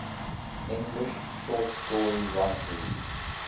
english short story writers